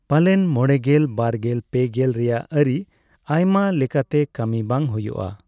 ᱯᱟᱞᱮᱱ ᱢᱚᱲᱮᱜᱮᱞ ,ᱵᱟᱨᱜᱮᱞ ᱯᱮᱜᱮᱞ ᱨᱮᱭᱟᱜ ᱟᱹᱨᱤ ᱟᱭᱢᱟ ᱞᱮᱟᱛᱮ ᱠᱟᱹᱢᱤ ᱵᱟᱝ ᱦᱩᱭᱩᱜᱼᱟ ᱾